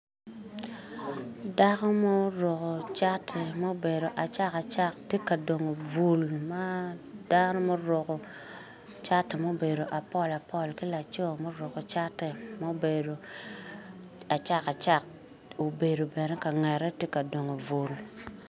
Dako muruko cati mubedo acak acak ti ka dongo bul ma dano muruko cati mubedo apolapol ki laco muruko cati mubedo acak obedo bene ka ngette ti ka dongo bul.